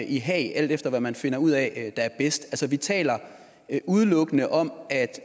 i haag alt efter hvad man finder ud af er bedst vi taler udelukkende om at